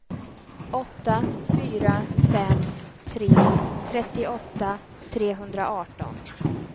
åtta fyra fem tre trettioåtta trehundraarton